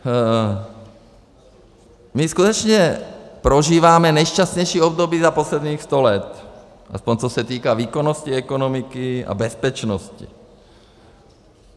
My skutečně prožíváme nejšťastnější období za posledních sto let, aspoň, co se týká výkonnosti ekonomiky a bezpečnosti.